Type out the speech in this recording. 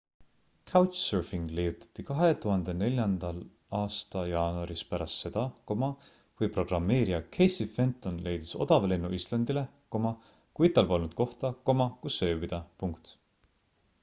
couchsurfing leiutati 2004 aasta jaanuaris pärast seda kui programmeerija casey fenton leidis odava lennu islandile kuid tal polnud kohta kus ööbida